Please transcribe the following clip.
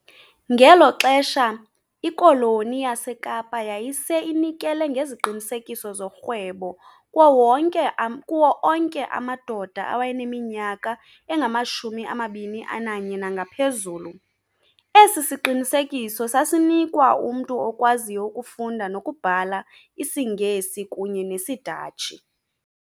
Ngelo xesha, ikoloni yaseKapa yayise inikele ngeziqinisekiso zorhwebo kuwo onke amadoda awayeneminyaka engama-21 nangaphezulu, esi siqinisekiso sasinikwa umntu okwaziyo ukufunda nokubhala isiNgesi kunye nesiDatshi.